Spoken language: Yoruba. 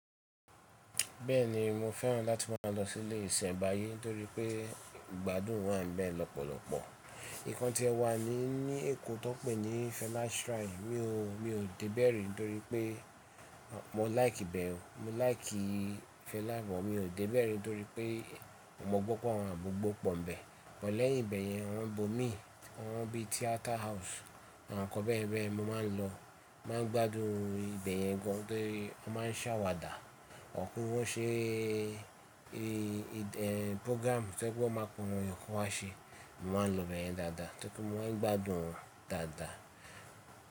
Bẹ́ẹ̀ni mo fẹ́ràn láti máa lọ sí ilé ìsẹ̀nbáyé torí pé ìgbádùn wà níbẹ̀ lọ́pọ̀lọpọ̀. Ìkan tíẹ wà ní, ní Èkó tó pé ní Fela Shrine, mi ò, mi ò débe rí torí pé mo láìkì ibẹ̀, mo láìkì Fela bọ̀, mi ò dé bẹ̀rẹ̀ torí pé mo gbọ́ pé wọ́n àmugbó pọ̀ níbẹ̀. But lẹ́yìn ibẹ̀ yẹn awọ́n ibomi, awọ́n bí Theater House àwọn nǹkan bẹ́ẹ̀ bẹ́ẹ̀ mo máa ń lọ, máa ń gbádùn ibẹ̀ yẹn gan torí wọ́n máa ń ṣàwàdà. Ọ̀kú wọ́n ṣé, e, e, program tó jẹ́ pé wọ́n ma pe àwọn èèyàn kí wọ́n wa ṣe, mo ma ń lọ ibẹ̀yẹn dáadáa, tó rí pẹ̀ wọ́n gbádùn dáadáa.